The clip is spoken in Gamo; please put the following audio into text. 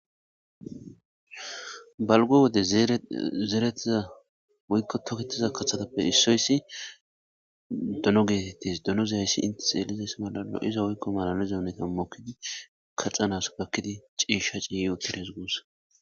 balgo wode zeerettiza woykko toketiza kahatappe issoyssi dono geetettes dono ziyayssi intis elizays malalo iza woykko malane zuoneta mokkidi kaxanas bakkidi ciishsha ciiyi utides guussa